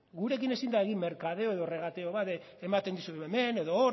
gurekin ezin da egin merkadeo edo regateo bat ematen dizut hemen edo hor